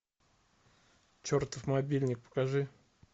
чертов мобильник покажи